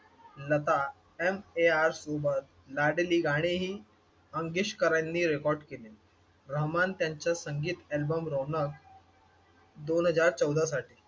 Lata MAR सोबत लाडली गाणेही मंगेशकरांनी रेकॉर्ड केले. रहमान त्यांचं संगीत अल्बम रौनक दोन हजार चौदासाठी.